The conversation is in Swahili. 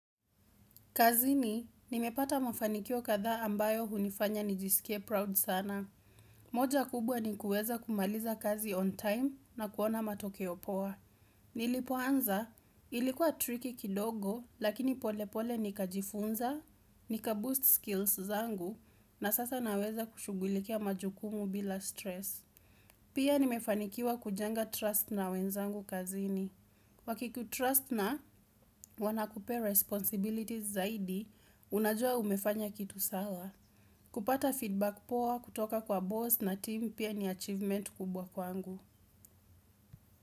Kazini, nimepata mafanikio kadhaa ambayo hunifanya nijisikie proud sana. Moja kubwa ni kuweza kumaliza kazi on time na kuona matokeo poa. Nilipoanza, ilikuwa tricky kidogo, lakini pole pole nikajifunza, nikaboost skills zangu, na sasa naweza kushugulikia majukumu bila stress. Pia nimefanikiwa kujenga trust na wenzangu kazini. Wakikutrust na wanakupea responsibilities zaidi, unajua umefanya kitu sawa. Kupata feedback poa kutoka kwa boss na team pia ni achievement kubwa kwangu.